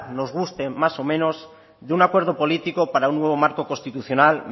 nos guste más o menos de un acuerdo político para un nuevo marco constitucional